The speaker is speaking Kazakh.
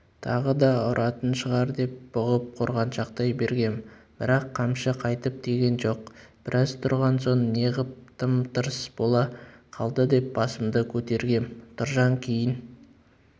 тағы да ұратын шығар деп бұғып қорғаншақтай бергем бірақ қамшы қайтып тиген жоқ біраз тұрған соң неғып тым-тырыс бола қалды деп басымды көтергем тұржан кейін